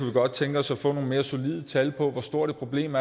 godt tænke os at få nogle mere solide tal på hvor stort et problem